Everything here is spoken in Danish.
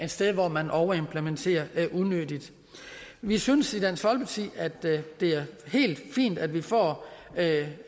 sted hvor man overimplementerer unødigt vi synes i dansk folkeparti at det er helt fint at vi får